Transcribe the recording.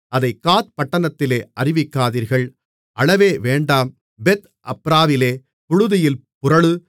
அதைக் காத்பட்டணத்திலே அறிவிக்காதீர்கள் அழவே வேண்டாம் பெத் அப்ராவிலே புழுதியில் புரளு